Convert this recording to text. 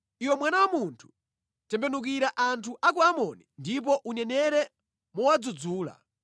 “Iwe mwana wa munthu, tembenukira anthu a ku Amoni ndipo unenere mowadzudzula.